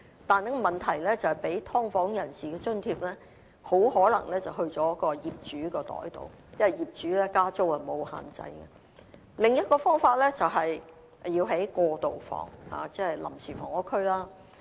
但是問題是，提供給"劏房人士"的津貼很可能會進入業主的口袋，因為業主加租沒有限制；另一種方法，是要興建"過渡房"，即臨時房屋區。